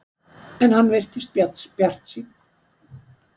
En hann virtist bjartsýnn.